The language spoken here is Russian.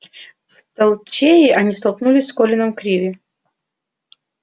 в толчее они столкнулись с колином криви